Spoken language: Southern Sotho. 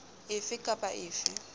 a fe kap a fe